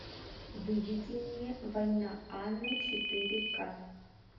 выведи мне война анны четыре ка